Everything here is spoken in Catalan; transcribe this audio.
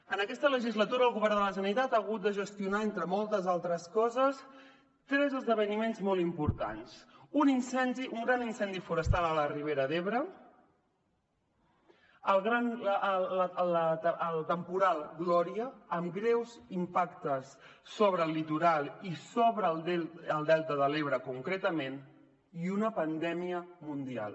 en aquesta legislatura el govern de la generalitat ha hagut de gestionar entre moltes altres coses tres esdeveniments molt importants un gran incendi forestal a la ribera d’ebre el temporal gloria amb greus impactes sobre el litoral i sobre el delta de l’ebre concretament i una pandèmia mundial